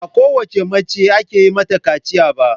Ba kowace mace ake yin mata kaciya ba.